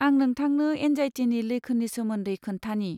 आं नोंथांनो एंजाइटिनि लैखोननि सोमोन्दै खोन्थानि।